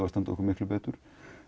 að standa okkur miklu betur